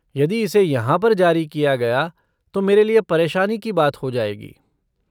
यदि इसे यहाँ पर जारी किया गया तो मेरे लिए परेशानी की बात हो जाएगी।